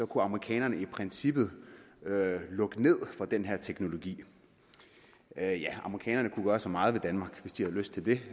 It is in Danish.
kunne amerikanerne i princippet lukke ned for den her teknologi ja amerikanerne kunne gøre så meget ved danmark hvis de havde lyst til det